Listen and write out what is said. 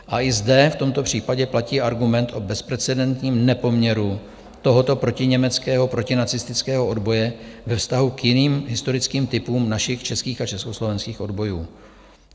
A i zde v tomto případě platí argument o bezprecedentním nepoměru tohoto protiněmeckého protinacistického odboje ve vztahu k jiným historickým typům našich českých a československých odbojů.